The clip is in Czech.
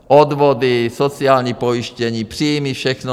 Odvody, sociální pojištění, příjmy, všechno.